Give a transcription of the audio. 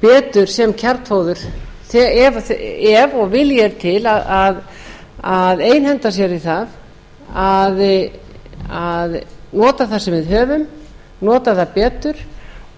betur sem kjarnfóður ef vilji er til að nota það sem við höfum nota það betur